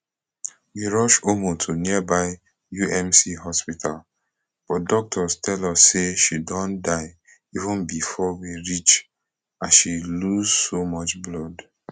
we rush ummu to nearby umc hospital but doctors tell us say she don die even bifor we reach as she lose so much blood